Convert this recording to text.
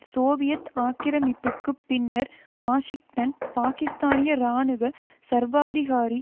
Soviet ஆக்கிரமிப்புக்குப் பின்னர் Washington பாக்கிஸ்தானிய இராணுவ சர்வாதிகாரி